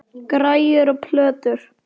Græjur og plötur.